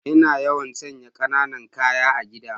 Ina yawan sanya kananan ƙaya a gida.